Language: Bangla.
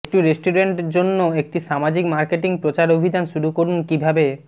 একটি রেস্টুরেন্ট জন্য একটি সামাজিক মার্কেটিং প্রচারাভিযান শুরু করুন কিভাবে